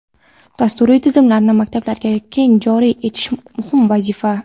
dasturiy tizimlarni maktablarga keng joriy etish muhim vazifa.